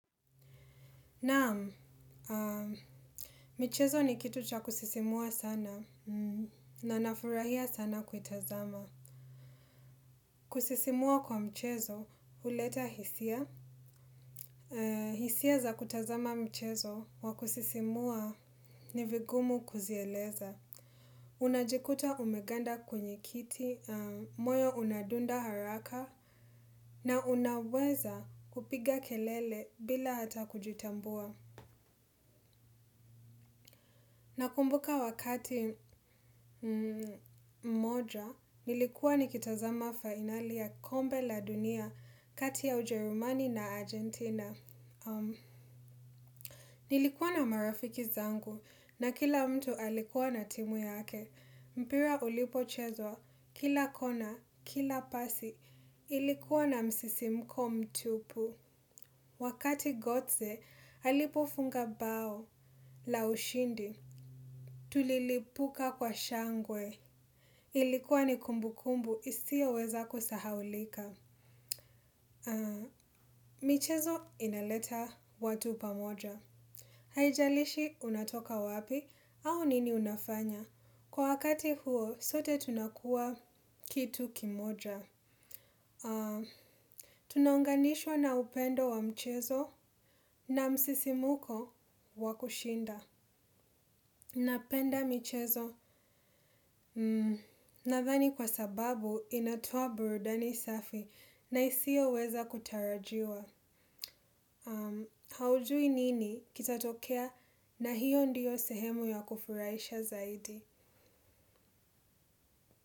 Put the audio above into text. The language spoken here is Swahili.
Naam, michezo ni kitu cha kusisimua sana, na nafurahia sana kuitazama. Kusisimua kwa mchezo, huleta hisia. Hisia za kutazama mchezo wa kusisimua ni vigumu kuzieleza. Unajikuta umeganda kwenye kiti, moyo unadunda haraka, na unaweza kupiga kelele bila hata kujitambua. Na kumbuka wakati moja, nilikuwa nikitazama fainali ya kombe la dunia kati ya Ujerumani na Argentina. Nilikuwa na marafiki zangu na kila mtu alikuwa na timu yake. Mpira ulipochezwa, kila kona, kila pasi, ilikuwa na msisimko mtupu. Wakati Gotze alipofunga bao la ushindi, tulilipuka kwa shangwe. Ilikuwa ni kumbukumbu isiyoweza kusahaulika. Michezo inaleta watu pamoja. Haijalishi unatoka wapi, au nini unafanya. Kwa wakati huo, sote tunakuwa kitu kimoja. Tunaunganishwa na upendo wa mchezo na msisimko wa kushinda. Napenda michezo nadhani kwa sababu inatoa burudani safi na isiyoweza kutarajiwa. Haujui nini kitatokea na hiyo ndiyo sehemu ya kufurahisha zaidi.